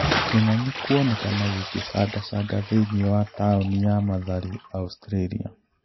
Kĩng'ang'i kuonekana gĩkĩcangacanga thĩinĩ wa taũni ya Mathari Australia.